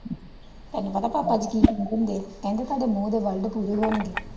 ਤੁਹਾਨੂੰ ਪਤਾ ਪਾਪਾ ਜੀ ਕਿ ਕਹਿੰਦੇ ਹੁੰਦੇ ਆ ਕਹਿੰਦੇ ਤੁਹਾਡੇ ਮੂੰਹ ਦੇ word ਪੂਰੇ ਹੋਣਗੇ।